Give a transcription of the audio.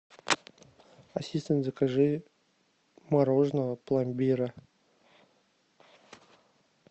ассистент закажи мороженое пломбира